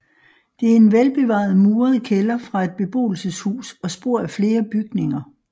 Det er en velbevaret muret kælder fra et beboelseshus og spor af flere bygninger